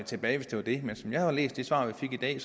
tilbage hvis det var det men som jeg har læst det svar vi fik i dag